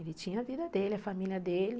Ele tinha a vida dele, a família dele.